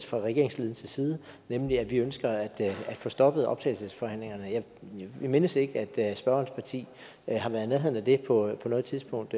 fra regeringsledelsens side nemlig at vi ønsker at få stoppet optagelsesforhandlingerne jeg mindes ikke at spørgerens parti har været i nærheden af det på noget tidspunkt